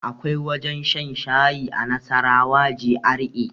Akwai wajen shan shayi a nasarawa GRA